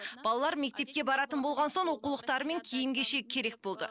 балалар мектепке баратын болған соң оқулықтары мен киім кешегі керек болды